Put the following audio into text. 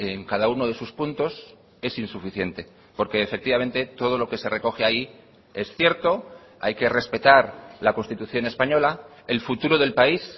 en cada uno de sus puntos es insuficiente porque efectivamente todo lo que se recoge ahí es cierto hay que respetar la constitución española el futuro del país